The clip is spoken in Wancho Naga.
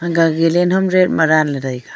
ga galan ham red ma dan ley taiga.